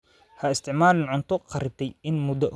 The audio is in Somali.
Ha isticmaalin cunto kharribtay in muddo ah.